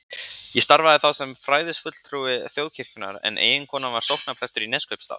Ég starfaði þá sem fræðslufulltrúi Þjóðkirkjunnar en eiginkonan var sóknarprestur í Neskaupsstað.